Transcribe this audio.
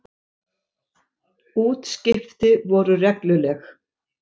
Útskipti voru regluleg.